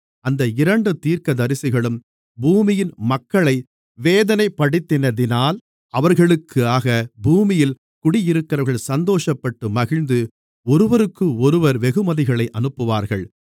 அந்த இரண்டு தீர்க்கதரிசிகளும் பூமியின் மக்களை வேதனைப்படுத்தினதினால் அவர்களுக்காக பூமியில் குடியிருக்கிறவர்கள் சந்தோஷப்பட்டு மகிழ்ந்து ஒருவருக்கொருவர் வெகுமதிகளை அனுப்புவார்கள்